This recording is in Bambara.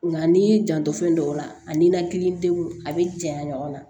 Nka n'i y'i janto fɛn dɔw la a ni nanklidenw a bɛ janya ɲɔgɔn na